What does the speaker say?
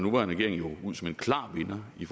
regering jo ud som en klar vinder i